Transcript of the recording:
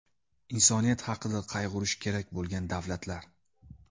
Insoniyat haqida qayg‘urishi kerak bo‘lgan davlatlar.